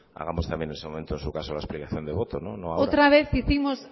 hagamos también en ese momento en su caso explicación de votos no ahora otra vez hicimos